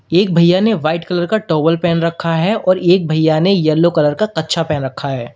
एक भैया ने व्हाइट कलर का टॉवल पहन रखा है और एक भैया ने येलो कलर का कच्छा पहन रखा है।